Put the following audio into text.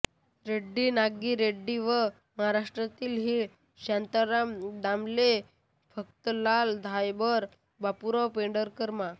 रेड्डी नागी रेड्डी व महाराष्ट्रातील व्ही शांताराम दामले फत्तेलाल धायबर बाबुराव पेंढारकर मा